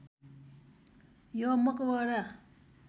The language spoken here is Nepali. यो मकबरा